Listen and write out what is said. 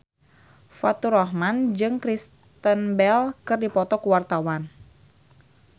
Faturrahman jeung Kristen Bell keur dipoto ku wartawan